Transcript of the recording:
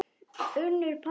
Unnur Pálína.